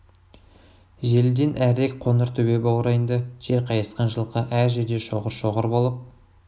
желіден әрірек қоңыр төбе баурайында жер қайысқан жылқы әр жерде шоғыр-шоғыр болып